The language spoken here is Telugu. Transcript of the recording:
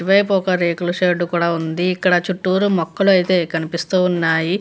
ఇటువైపు ఒక రేకుల షెడ్డు ఉంది. ఇక్కడ చుట్టూరా మొక్కలైతే కనిపిస్తున్నాయి.